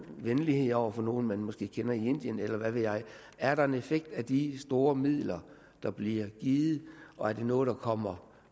venlighed over for nogle man måske kender i indien eller hvad ved jeg er der en effekt af de store midler der bliver givet og er det noget der kommer